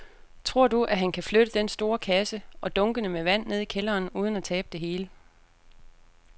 Tror du, at han kan flytte den store kasse og dunkene med vand ned i kælderen uden at tabe det hele?